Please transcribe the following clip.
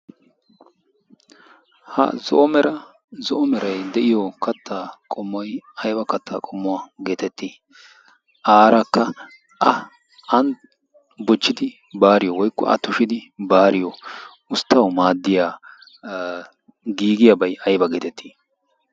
ha zo'o mera zo'o meray de'iyo kattaa qomoy ayba kattaa qommuwaa geetettii? Aarakka a ay bochchidi baariyo woykko a tushidi baariyo usttawu maaddiya giigiyaabay ayba geetettii?